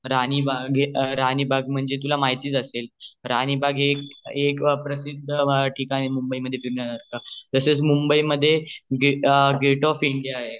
हा ते तर आहे मुंबई एक पर्यटनासाठी पण प्रसिद्ध ठिकाण आहे मुंबई मध्ये अनेक ठिकाने आहेत राणीबाग आहे राणीबाग तुला माहितीच असेल राणीबाग हे एक प्रसिद्ध ठिकाण आहे फिरण्यासारख तसेच मुंबई मध्ये गेट ऑफ इंडिया आहे